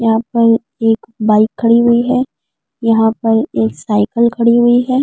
यहाँ पर एक बाइक खड़ी हुई है। यहाँ पर एक साइकिल खड़ी हुई है।